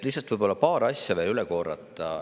Lihtsalt paar asja võiks veel üle korrata.